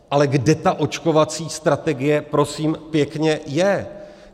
Ale kde ta očkovací strategie prosím pěkně je?